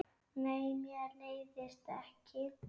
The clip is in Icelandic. Nei, mér leiðist ekki.